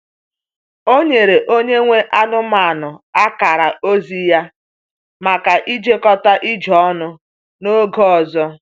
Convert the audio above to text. Ọ nyere onye nwe anụmanụ akara ozi ya maka ijekọta ije ọnụ n’oge ọzọ.